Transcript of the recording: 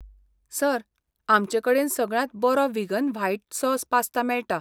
Sir, आमचेकडेन सगळ्यांत बरो व्हिगन व्हायट सॉस पास्ता मेळटा.